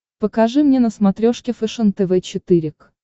покажи мне на смотрешке фэшен тв четыре к